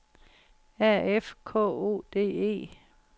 A F K O D E